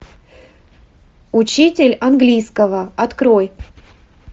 учитель английского открой